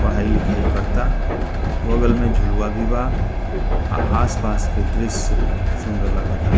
पढ़ाई-लिखाई करता बगल में झुलवा भी बा अ आस-पास के दृश्य सुन्दर लागा ता।